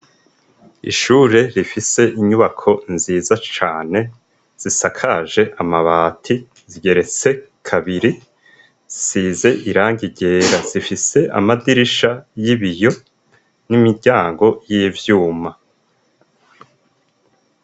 Ishure rifise inyubako nziza cane zisakaje amabati, zigeretse kabiri zisize irangi ryera. Zifise amadirisha y'ibiyo n'imiryango y'ivyuma.